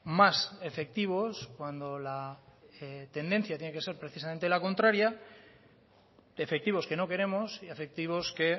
más efectivos cuando la tendencia tiene que ser precisamente la contraria efectivos que no queremos y efectivos que